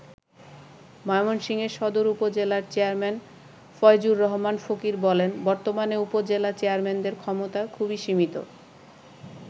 ময়মনসিংহের সদর উপজেলার চেয়ারম্যান ফয়জুর রহমান ফকির বলেন বর্তমানে উপজেলা চেয়ারম্যানদের ক্ষমতা খুবই সীমিত।